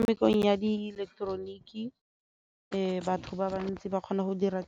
Mmerekong ya di ileketeroniki batho ba bantsi ba kgona go dira